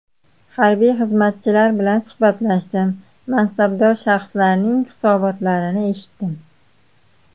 Harbiy xizmatchilar bilan suhbatlashdim, mansabdor shaxslarning hisobotlarini eshitdim.